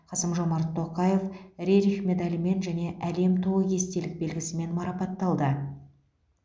қасым жомарт тоқаев рерих медалімен және әлем туы естелік белгісімен марапатталды